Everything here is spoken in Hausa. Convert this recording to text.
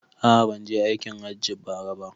A'a banje aikin hajji bara ba